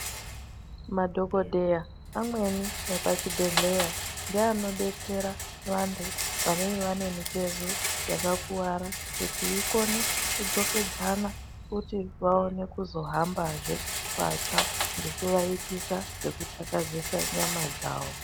Madhokoteya amweni epachibhedhlera nge anodetsera vantu anenge anemitezo yakakuwara kuti ikone kudzokedzana vaone kuzohamba zve patsva nekuvaitisa zvekutakazesa nyama dzavo.